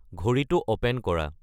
ঘড়ী়টো open কৰা